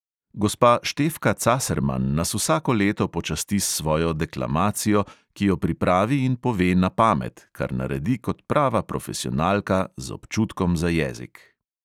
Gospa štefka caserman nas vsako leto počasti s svojo deklamacijo, ki jo pripravi in pove na pamet, kar naredi kot prava profesionalka, z občutkom za jezik.